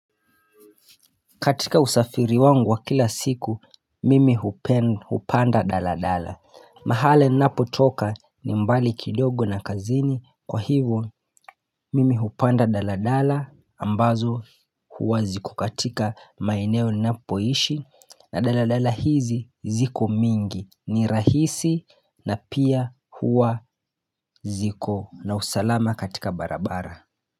Katika usafiri wangu wa kila siku, mimi hupanda daladala. Mahali ninapotoka ni mbali kidogo na kazini kwa hivyo mimi hupanda daladala ambazo huwa ziko katika maeneo napoishi na daladala hizi ziko mingi ni rahisi na pia huwa ziko na usalama katika barabara.